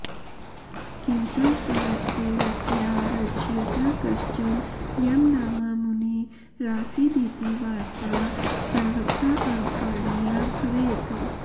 किन्तु स्मृतेरस्या रचयिता कश्चन यमनामा मुनि रासीदिति वार्त्ता सर्वथाऽवधारणीया भवेत्